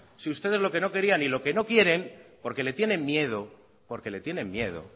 si ustedes lo que no querían y lo que no quieren porque le tienen miedo